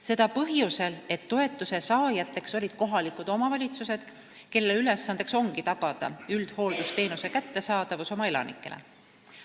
Seda põhjusel, et toetust said kohalikud omavalitsused, kelle ülesanne ongi tagada üldhooldusteenuse kättesaadavus oma elanikele.